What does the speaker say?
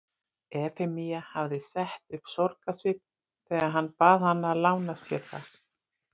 Efemía hafði sett upp sorgarsvip þegar hann bað hana að lána sér það.